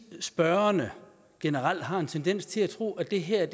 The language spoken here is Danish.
spørgerne generelt har en tendens til at tro at det her er